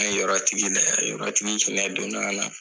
Hali yɔrɔ tigi yɛrɛ ,yɔrɔ tigi hina donna a la.